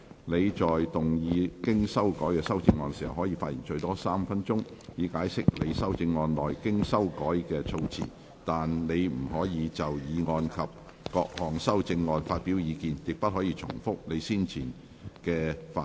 你在動議經修改的修正案時，可發言最多3分鐘，以解釋修正案內經修改的措辭，但你不可再就議案及各項修正案發表意見，亦不可重複你先前的發言。